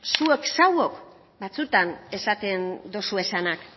zuek zuok batzuetan esaten dozuezanak